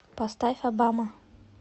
поставь обама